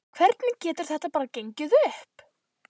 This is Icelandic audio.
Hvernig getur þetta bara gengið upp?